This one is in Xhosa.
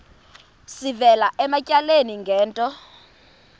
sivela ematyaleni ngento